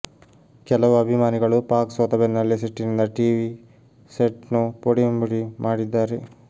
ಕೆಲವು ಅಭಿಮಾನಿಗಳು ಪಾಕ್ ಸೋತ ಬೆನ್ನೆಲ್ಲೆ ಸಿಟ್ಟಿನಿಂದ ಟಿವಿ ಸೆಟ್ನ್ನು ಪುಡಿಪುಡಿ ಮಾಡಿದ್ದಾರೆ